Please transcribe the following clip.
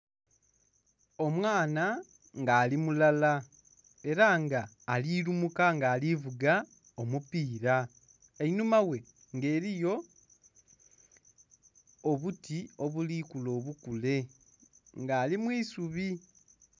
Omwana nga ali mulala ela nga ali lumuka nga ali vuga omupiira. Einhuma ghe nga eliyo obuti obuli kula obukule. Nga ali mu isubi.